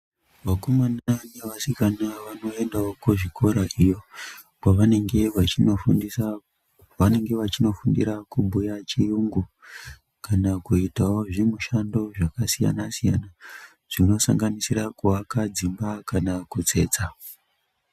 Vakomana nevasikana vanoendavo kuzvikora iyo kwavanenge vachinofundisa kwavanenge vachinofundira kubhuya chiyungu. Kana kuitavo zvimushando zvakasiyana-siyana, zvinosanganisira kuaka dzimba kana kutsetsa.